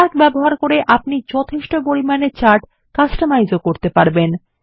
Calc ব্যবহার করে আপনি যথেষ্ট পরিমাণে চার্ট কাস্টমাইজও করতে পারেন